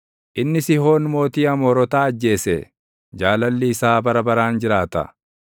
inni Sihoon mootii Amoorotaa ajjeese; Jaalalli isaa bara baraan jiraata.